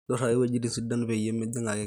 nduraki wuejitin sidan peyie mijing ake keeya